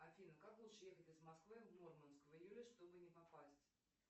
афина как лучше ехать из москвы в мурманск в июле чтобы не попасть